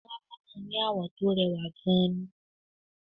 Labalábá náà ni àwọ̀ tó rẹwà gan-an ni